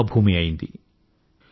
కర్మ భూమి అయ్యింది